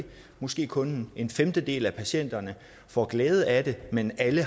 måske kun en femtedel af patienterne får glæde af det men alle